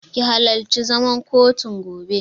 Ki halarci zaman kotun gobe!